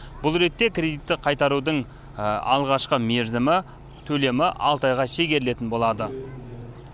бұл ретте кредитті қайтарудың алғашқы мерзімі төлемі алты айға шегерілетін болады